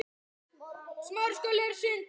Hvaðan kemur nafnið?